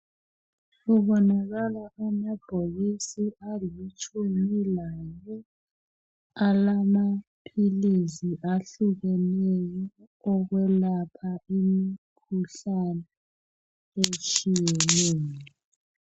Kubonakala amabhokisi alitshumi lane alamaphilisi ahlukeneyo okwelapha imikhuhlane etshiyeneyo.